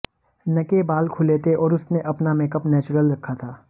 नके बाल खुले थे और उसने अपना मेकअप नेचुरल रखा था